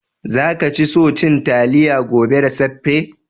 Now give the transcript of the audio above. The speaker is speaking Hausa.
Za ka ci so cin talliya gobe da saffe?